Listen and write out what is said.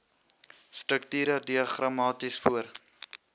strukture diagramaties voor